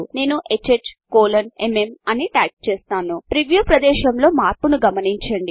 నేను HHMM అని type చేస్తాను ప్రీవ్యూ ప్రదేశములో మార్పును గమనించండి